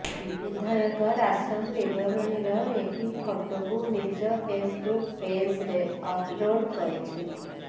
ବିଧାୟକ ରାସନ ବିତରଣର ଏହି ଫଟୋକୁ ନିଜ ଫେସବୁକ ପେଜରେ ଅପଲୋଡ୍ କରିଛନ୍ତି